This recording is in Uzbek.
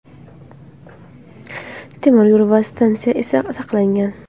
Temir yo‘l va stansiya esa saqlangan.